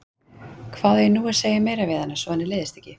Hvað á ég nú að segja meira við hana, svo að henni leiðist ekki?